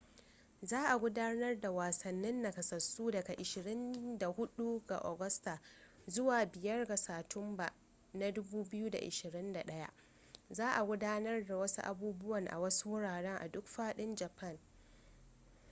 za a gudanar da wasannin nakasassu daga 24 ga agusta zuwa 5 ga satumba 2021 za a gudanar da wasu abubuwan a wasu wurare a duk fadin japan